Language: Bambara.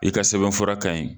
I ka sɛbɛn fɔra kaɲi